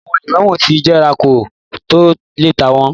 Àwọn lẹ́mọ́nù ti jẹrà kó tó le tà wọ́n.